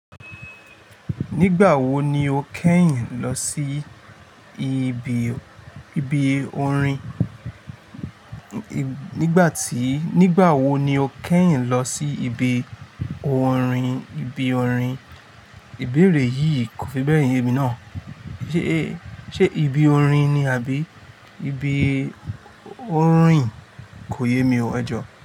Nígbà wo ni o kẹ́yìn lọ sí ibi orin? Nígbà tí-- nígbà wo ni o kẹ́yìn lọ sí ibi orin? Ibi orin. Ìbéèrè yìí kò fi bẹ́ẹ̀ ye mi náà. Ṣe ibi orin ni àbí ibi orìn? Kò yé mi o. Ẹ̀jọ̀